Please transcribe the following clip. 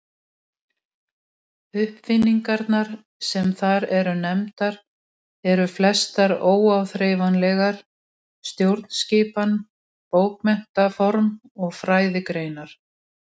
Uppfinningarnar sem þar eru nefndar eru flestar óáþreifanlegar: stjórnskipan, bókmenntaform og fræðigreinar.